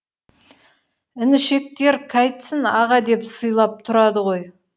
інішектер қайтсін аға деп сыйлап тұрады ғой